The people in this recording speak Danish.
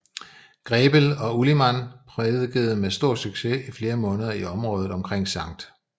Grebel og Ulimann prædikede med stor succes i flere måneder i området omkring St